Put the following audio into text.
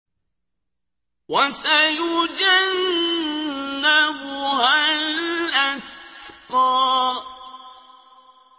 وَسَيُجَنَّبُهَا الْأَتْقَى